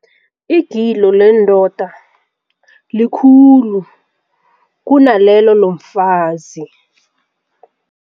Igilo lendoda likhulu kunalelo lomfazi.